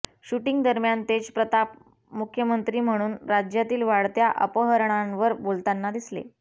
shooting दरम्यान तेजप्रताप मुख्यमंत्री म्हणून राज्यातील वाढत्या अपहरणांवर बोलतांना दिसले